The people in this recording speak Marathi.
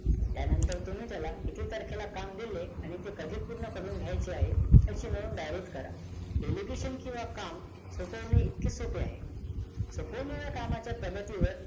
त्यानंतर तुम्ही त्याला किती तारखेला काम दिले आणि ते कधी पूर्ण करून घ्यायचे आहे याची नोंद डायरीत करा delegation किंवा काम सोपवणे इतके सोपे आहे सोपावलेल्या कामाच्या प्रगतीवर